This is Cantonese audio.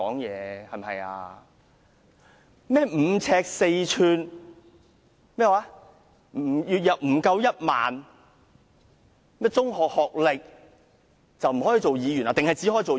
甚麼5呎4吋、月入不足1萬元、中學學歷不能當議員，還是才能當議員？